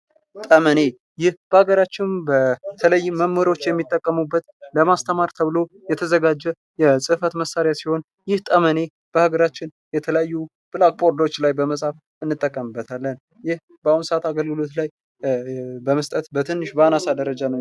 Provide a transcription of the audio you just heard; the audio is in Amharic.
ጠመኔ ይህ በአገራችን በተለይም መምህሮች የሚጠቀሙበት ለማስተማር ተብሎ የተዘጋጀ የፅህፈት መሳሪያ ሲሆን ይህ ጠመኔ በሀገራችን የተለያዩ ብላክ ቦርዶች ላይ በመፃፍ እንጠቀምበታለን። ይህ በአሁኑ ስዓት አገልግሎት ላይ በመስጠት በትንሽ በአናሳ ደረጃ ነው።